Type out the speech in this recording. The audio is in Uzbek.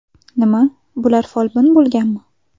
Nima, bular folbin bo‘lganmi?